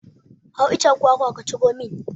Hau icen kwakwa ka ciro min!